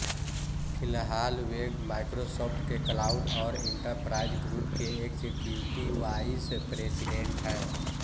फिलहाल वे माइक्रोसॉफ्ट के क्लाउड और एंटरप्राइज ग्रुप के एग्ज़ीक्युटिव वाइस प्रेजिडेंट हैं